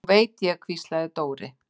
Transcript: Nú veit ég, hvíslaði Dóri.